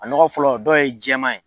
A nɔgɔ fɔlɔ dɔw ye jɛma ye.